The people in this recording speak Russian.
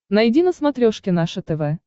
найди на смотрешке наше тв